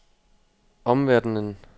omverdenen